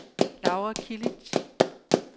Laura Kilic